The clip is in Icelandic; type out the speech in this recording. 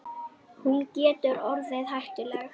Hún getur orðið hættuleg.